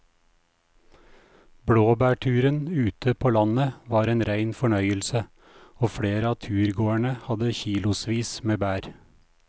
Blåbærturen ute på landet var en rein fornøyelse og flere av turgåerene hadde kilosvis med bær.